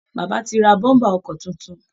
Bàbá ti ra bọ́ḿbà ọkọ̀ tuntun